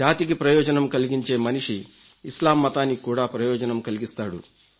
జాతికి ప్రయోజనం కలిగించే మనిషి ఇస్లాం మతానికి కూడా ప్రయోజనం కలిగిస్తాడు